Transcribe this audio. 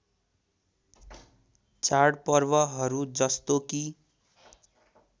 चाडपर्वहरू जस्तो कि